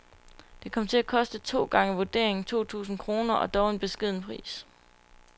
Det kom til at koste to gange vurderingen, to tusind kroner, og dog en beskeden pris.